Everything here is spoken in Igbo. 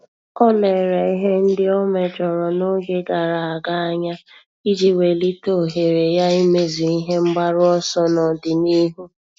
Ọ́ lérè ihe ndị ọ́ méjọ̀rọ̀ n’ógè gàrà ága anya iji wèlíté ohere ya ímézu ihe mgbaru ọsọ n’ọ́dị̀nihu.